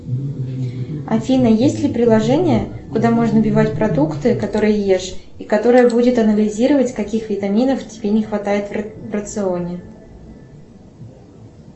афина есть ли приложение куда можно вбивать продукты которые ешь и которое будет анализировать каких витаминов тебе не хватает в рационе